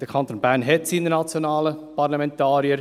Der Kanton Bern hat seine nationalen Parlamentarier.